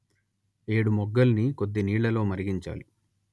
ఏడుమొగ్గల్ని కొద్దినీళ్లలో మరిగించాలి